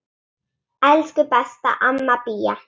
Elsku besta amma Bía.